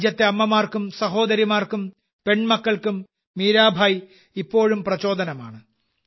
രാജ്യത്തെ അമ്മമാർക്കും സഹോദരിമാർക്കും പെൺമക്കൾക്കും മീരാഭായ് ഇപ്പോഴും പ്രചോദനമാണ്